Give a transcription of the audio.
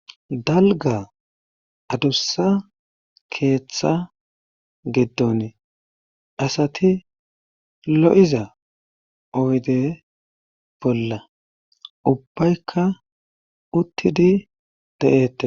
Dalga adussa keeththa giddon asati lo7iza owde bolla ubbaykka uttidi da7ette.